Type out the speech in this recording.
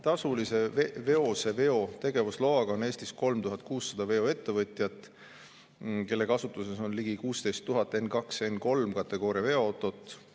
Tasulise veoseveo tegevusloaga on Eestis 3600 veoettevõtjat, kelle kasutuses on ligi 16 000 N2- ja N3-kategooria veoautot.